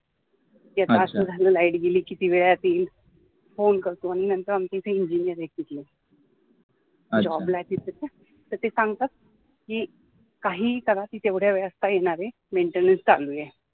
त्याचा असा झाल कि, कि light किती वेळात येईल, Phone करतो आणि नंतर आमच्या इथे Engineer आहेत तिथले Job ला आहेत तिथे ठीक है ते सांगतात कि, काहीही करा ती तेवढ्या वेळात येणार आहे maintenance चालू आहे.